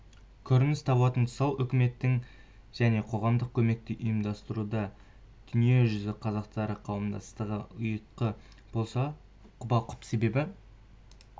көрініс табатын тұсыал үкіметтік және қоғамдық көмекті ұйымдастыруда дүниежүзі қазақтары қауымдастығы ұйытқы болса құба-құп себебі